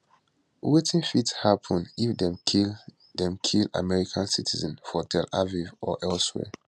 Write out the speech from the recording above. wetin fit happun if dem kill dem kill american citizen for tel aviv or elsewhere